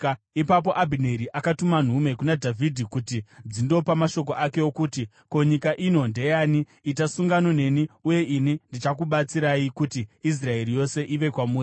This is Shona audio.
Ipapo Abhineri akatumira nhume kuna Dhavhidhi kuti dzindopa mashoko ake okuti, “Ko, nyika ino ndeyani? Itai sungano neni, uye ini ndichakubatsirai kuti Israeri yose iuye kwamuri.”